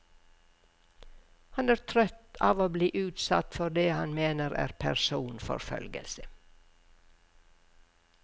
Han er trøtt av å bli utsatt for det han mener er personforfølgelse.